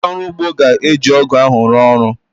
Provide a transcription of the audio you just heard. Ndị ọrụ ugbo ga-eji ọ́gụ̀ ahụ rụọ ọrụ